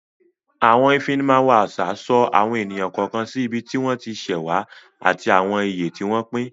Àwọn Ìfimáwo àṣà so àwọn ènìyàn kọ̀ọ̀kan sí ibi tí wọ́n ti ṣẹ̀ wá ati àwọn ìyè tí wọ́n pín